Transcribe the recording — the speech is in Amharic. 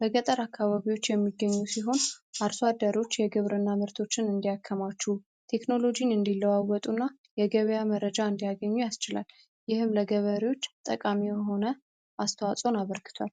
በገጠር አካባቢዎች የሚገኙ ሲሆን አርሷ አደሮች የግብር እና ምርቶችን እንዲያከማችው ቴክኖሎጂን እንዲለዋወጡ እና የገበያ መረጃ እንዲያገኙ ያስችላል። ይህም ለገበሪዎች ጠቃሚ የሆነ አስተዋጾን አበርግቷል።